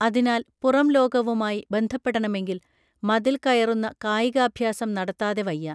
അതിനാൽ പുറംലോകവുമായി ബന്ധപ്പെടണമെങ്കിൽ മതിൽ കയറുന്ന കായികാഭ്യാസം നടത്താതെ വയ്യ